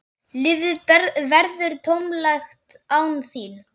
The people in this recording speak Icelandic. Lífið verður tómlegt án þín.